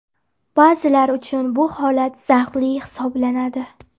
Ba’zilar uchun bu holat zavqli hisoblanadi.